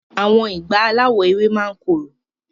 Awọn ìgbá alawọ ewé máa ni korò.